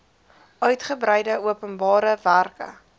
uigebreide openbare werke